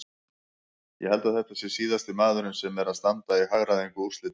Ég held að þetta sé síðasti maðurinn sem er að standa í hagræðingu úrslita.